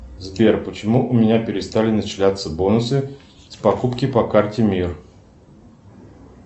сбер почему у меня перестали начисляться бонусы с покупки по карте мир